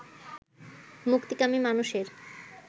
মুক্তিকামী মানুষের